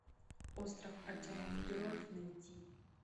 остров отчаянных героев найти